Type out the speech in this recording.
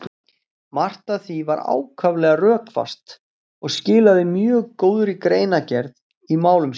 Margt af því var ákaflega rökfast og skilaði mjög góðri greinargerð í málum sínum.